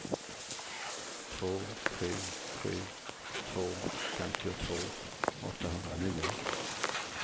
två sju sju två femtiotvå åttahundranio